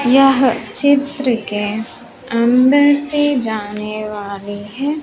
यह चित्र के अंदर से जाने वाली है।